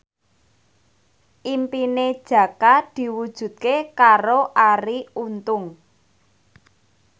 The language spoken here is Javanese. impine Jaka diwujudke karo Arie Untung